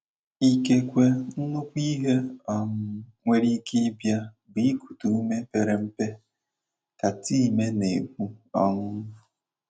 “ Ikekwe nnukwu ihe um nwere ike ịbịa bu ikute ume pere mpe ” ka Time na - ekwu um.